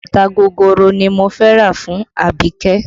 Bàtà gogoro ni mo fẹ́ rà fún Abike